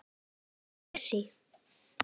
Hvað kom fyrir Messi?